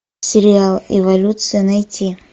сериал эволюция найти